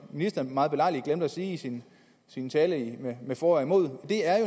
ministeren meget belejligt glemte at sige i sin sin tale altså med for og imod